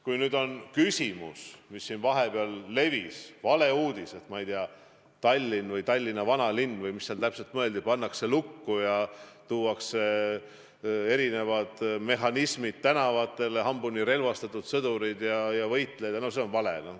Kui on küsimus selle kohta, mis vahepeal levis, valeuudise kohta, et Tallinn või Tallinna vanalinn pannakse lukku ja tuuakse tänavatele erinevad mehhanismid, hambuni relvastatud sõdurid ja võitlejad, siis see on vale.